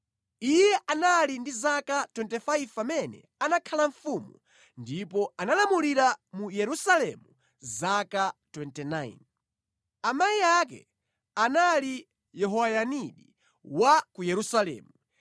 Iye anali ndi zaka 25 pamene anakhala mfumu ndipo analamulira mu Yerusalemu zaka 29. Amayi ake anali Yehoyadini wa ku Yerusalemu.